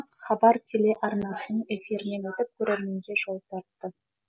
астамы хабар телеарнасының эфирінен өтіп көрерменге жол тартты